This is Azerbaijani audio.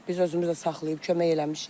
Biz özümüz də saxlayıb kömək eləmişik.